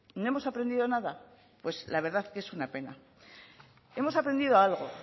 no hemos aprendido nada pues la verdad que es una pena hemos aprendido algo